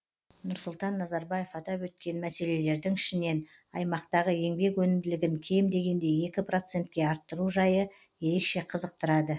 нұрсұлтан назарбаев атап өткен мәселелердің ішінен аймақтағы еңбек өнімділігін кем дегенде екі процентке арттыру жайы ерекше қызықтырады